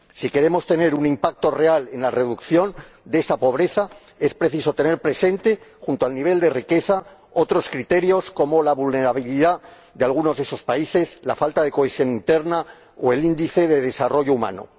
Si queremos tener un impacto real en la reducción de esa pobreza, es preciso tener presente, junto al nivel de riqueza, otros criterios como la vulnerabilidad de algunos de esos países, la falta de cohesión interna o el índice de desarrollo humano.